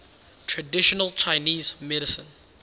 traditional chinese medicine